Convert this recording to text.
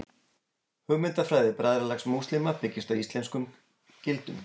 Hugmyndafræði Bræðralags múslíma byggist á íslömskum gildum.